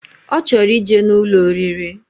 Ochoro ije na Ụlọ oriri.